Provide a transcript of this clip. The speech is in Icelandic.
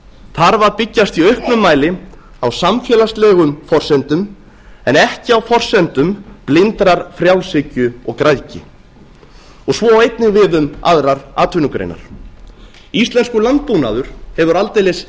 þarf að byggjast í auknum mæli á samfélagslegum forsendum en ekki á forsendum blindrar frjálshyggju og græðgi svo á einnig við um aðrar atvinnugreinar íslenskur landbúnaður hefur aldeilis